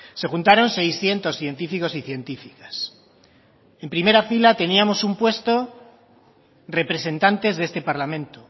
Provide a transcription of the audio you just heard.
se juntaron seiscientos científicos y científicas en primera fila teníamos un puesto representantes de este parlamento